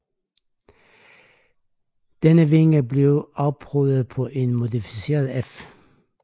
Denne vinge blev afprøvet på en modificeret F